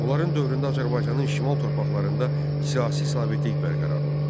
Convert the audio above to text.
Onların dövründə Azərbaycanın şimal torpaqlarında siyasi sabitlik bərqərar oldu.